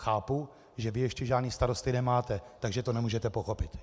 Chápu, že vy ještě žádné starosty nemáte, takže to nemůžete pochopit.